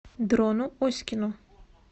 дрону оськину